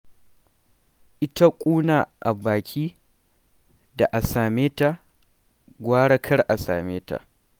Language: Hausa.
Ita ƙuna a baka, da a same ta, gara kar a same ta.